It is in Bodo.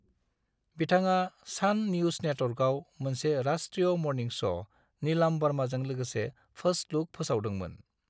बिथाङा सान निउज नेटवर्कआव मोनसे राष्ट्रीय मर्निं श' नीलम बार्माजों लोगसे फार्स्ट लुक फोसावदोंमोन।